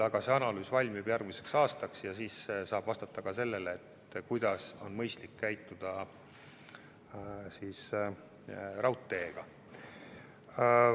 See analüüs valmib järgmiseks aastaks ja siis saab vastata ka sellele, kuidas on mõistlik käituda raudteega.